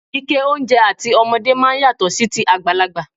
Ike oúnjẹ àti ọmọdé máa ń yàtọ̀ sí ti àgbàlagbà.